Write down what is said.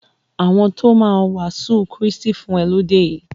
Àwọn ti o máa wàásù Krístì fún e lọ ti dé yìí.